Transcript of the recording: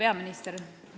Hea peaminister!